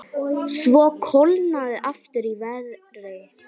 Svo kólnaði aftur í veðri.